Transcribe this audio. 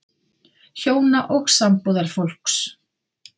HJÓNA OG SAMBÚÐARFÓLKS